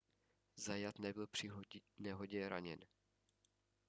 zayat nebyl při nehodě zraněn